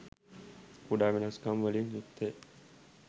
කුඩා වෙනස්කම් වලින් යුක්තය.